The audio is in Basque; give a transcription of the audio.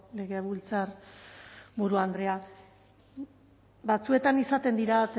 legebiltzarburu andrea batzuetan izaten dira